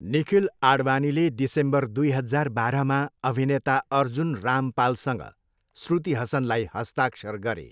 निखिल आडवानीले डिसेम्बर दुई हजार बाह्रमा अभिनेता अर्जुन रामपालसँग श्रुति हसनलाई हस्ताक्षर गरे।